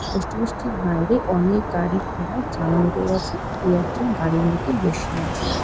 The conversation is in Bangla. পোস্ট অফিস -টির বাইরে অনেক গাড়ি ঘোড়ার জাম লেগে গেছে দুই একজন গাড়ির মধ্যে বসে আছে।